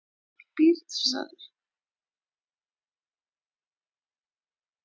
Hið fáránlega hreina bað.